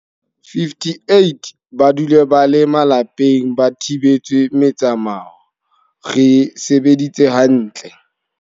58 ba dule ba le malapeng ba thibetswe metsamao, re sebeditse ha ntle.